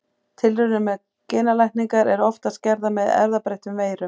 Tilraunir með genalækningar eru oftast gerðar með erfðabreyttum veirum.